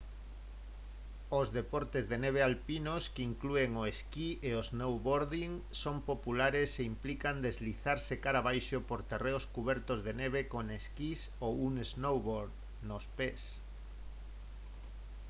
os deportes de neve alpinos que inclúen o esquí e o snowboarding son populares e implican deslizarse cara abaixo por terreos cubertos de neve con esquís ou un snowboard nos pés